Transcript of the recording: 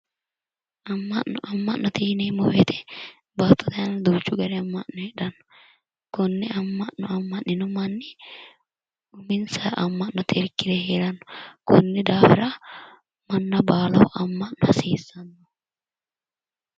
Ama'no, ama'note yinneemmo woyte baattote aana duuchu gari ama'no no, kone ama'no ama'nino manni uminsara ama'note irkire heerano, koni daafira manna baallaho ama'no hasiisano